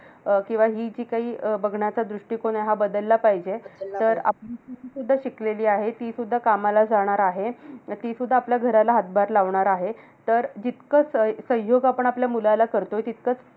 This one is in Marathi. अं किंवा हि जी काही अं बघण्याचा दृष्टिकोन आहे, हा बदलला पाहिजे. तर आपली सून जर शिकलेली आहे. तीसुद्धा कामाला जाणार आहे. तर तीसुद्धा आपल्या घराला हातभार लावणार आहे. तर जितकं सह सहयोग आपण आपल्या मुलाला करतोय. तितकंच